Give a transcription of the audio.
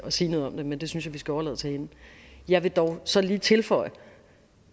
sige noget om det men det synes jeg vi skal overlade til hende jeg vil dog så lige tilføje